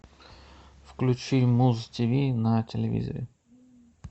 включи муз тв на телевизоре